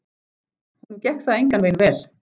Honum gekk það engan veginn vel.